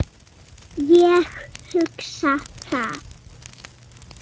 Ég hugsa það.